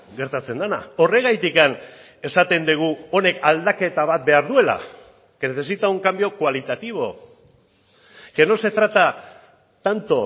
gertatzen dena horregatik esaten dugu honek aldaketa bat behar duela que necesita un cambio cualitativo que no se trata tanto